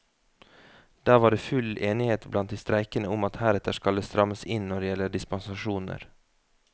Der var det full enighet blant de streikende om at heretter skal det strammes inn når det gjelder dispensasjoner.